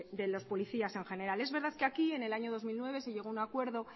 de los policías en general es verdad que aquí en el año dos mil nueve se llegó a un acuerdo